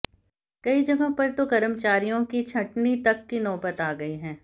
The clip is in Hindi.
कई जगहों पर तो कर्मचारियों की छंटनी तक की नौबत आ गई है